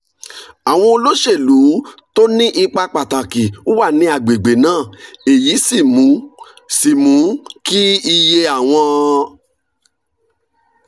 àwọn olóṣèlú tó ní ipa pàtàkì wà ní àgbègbè náà èyí sì mú sì mú kí iye àwọn